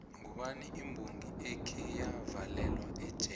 ngubani imbongi ekheya valelwa ejele na